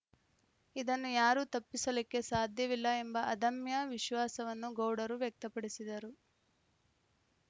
ಇದನ್ನು ಯಾರು ತಪ್ಪಿಸಲಿಕ್ಕೆ ಸಾಧ್ಯವಿಲ್ಲ ಎಂಬ ಅದಮ್ಯ ವಿಶ್ವಾಸವನ್ನು ಗೌಡರು ವ್ಯಕ್ತಪಡಿಸಿದರು